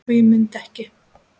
og ég mundi ekki.